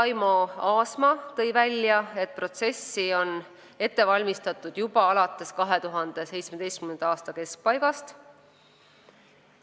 Taimo Aasma tõi välja, et protsessi on ette valmistatud juba 2017. aasta keskpaigast alates.